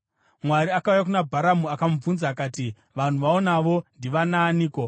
Mwari akauya kuna Bharamu akamubvunza akati, “Vanhu vaunavo ndivanaaniko?”